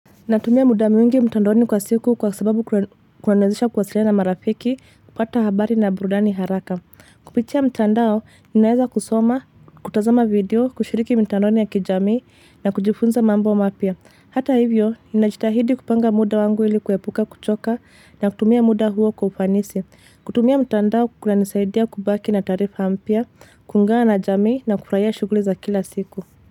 Natumia muda mwingi mtandoni kwa siku kwa sababu kunaniwezesha kuwasiliana na marafiki, kupata habari na burudani haraka. Kupitia mtandao, ninaaeza kusoma, kutazama video, kushiriki mitandaoni ya kijamii na kujifunza mambo mapya. Hata hivyo, ninajitahidi kupanga muda wangu ili kuepuka kuchoka na kutumia muda huo kwa ufanisi. Kutumia mtandao kunanisaidia kubaki na taarifa mpya, kuungana na jamii na kufurahia shughuli za kila siku.